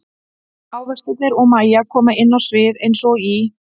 Ávextirnir og Mæja koma inn á sviðið eins og í